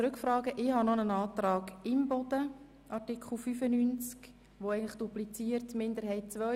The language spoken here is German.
Ich habe noch einen Antrag der Grünen von Grossrätin Imboden zu Artikel 95, der den Minderheitsantrag II dupliziert.